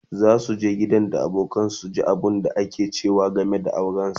zasu je gidan da abokanansa su ji abunda aka ce game da auransa